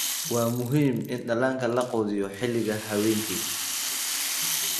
Waa muhiim in dhallaanka la quudiyo xilliga habeenkii.